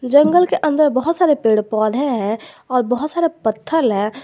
जंगल के अंदर बहोत सारे पेड़ पौधे हैं और बहोत सारे पत्थल है।